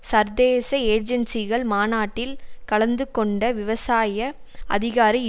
சர்தேச ஏஜென்சிகள் மாநாட்டில் கலந்து கொண்ட விவசாய அதிகாரி